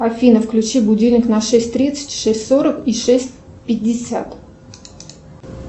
афина включи будильник на шесть тридцать шесть сорок и шесть пятьдесят